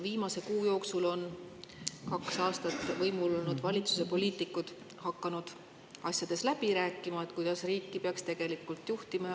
Viimase kuu jooksul on kaks aastat võimul olnud valitsuse poliitikud hakanud läbi rääkima, kuidas riiki peaks tegelikult juhtima.